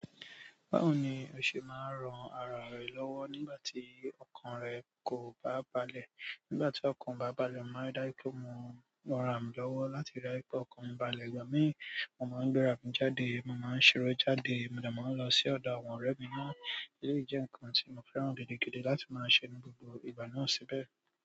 Báwo ni o ṣe máa ń ran ara rẹ lọ́wọ́ nígbà tí ọkàn rẹ kò bá balẹ̀? Nígbà tí ọkàn mi bá balẹ̀, màá dájùnl pé mo máa raǹ mi lọ́wọ́ láti rí pé ọkàn mi balẹ̀. Ìgbà mìíràn, mo máa ń gbéra mi jáde, mo máa ń ṣeré jáde, mo dẹ̀ máa ń lọ sí ọ̀dọ̀ àwọn ọ̀rẹ́ mi náà. Èleyí jẹ́ nǹkan tí mo fẹ́ran gidigidi láti máa ń ṣe ní gbogbo ìgbà náà síbẹ̀.